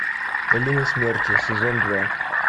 долина смерти сезон два